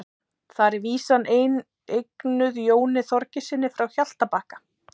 Þar er vísan eignuð Jóni Þorgeirssyni frá Hjaltabakka.